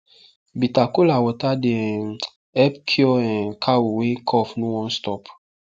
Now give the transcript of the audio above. bitter kola water dey um help cure um cow wey cough no wan stop